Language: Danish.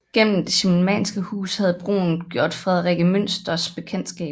Gennem det schimmelmannske hus havde Brun gjort Frederikke Münters bekendtskab